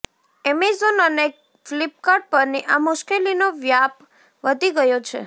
Amazon અને ફ્લિપકાર્ટ પરની આ મુશ્કેલીનો વ્યાપ વધી ગયો છે